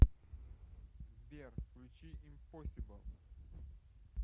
сбер включи импосибл